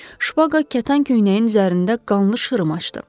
Şpaqa kətan köynəyin üzərində qanlı şırım açdı.